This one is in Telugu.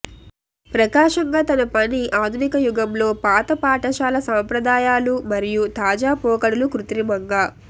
ప్రకాశంగా తన పని ఆధునిక యుగంలో పాత పాఠశాల సంప్రదాయాలు మరియు తాజా పోకడలు కృత్రిమంగా